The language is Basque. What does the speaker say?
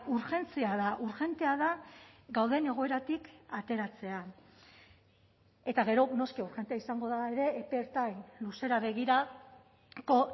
urgentzia da urgentea da gauden egoeratik ateratzea eta gero noski urgentea izango da ere epe ertain luzera begirako